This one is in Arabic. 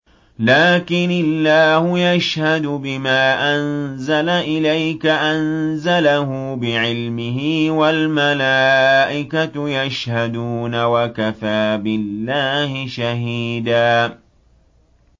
لَّٰكِنِ اللَّهُ يَشْهَدُ بِمَا أَنزَلَ إِلَيْكَ ۖ أَنزَلَهُ بِعِلْمِهِ ۖ وَالْمَلَائِكَةُ يَشْهَدُونَ ۚ وَكَفَىٰ بِاللَّهِ شَهِيدًا